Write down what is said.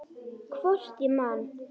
Hvort ég man.